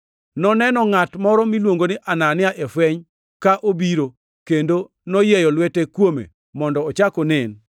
Noneno ngʼat moro miluongo ni Anania e fweny ka obiro kendo noyieyo lwete kuome mondo ochak onen.”